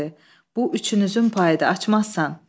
Bu üçünüzün payıdı, açmazsan.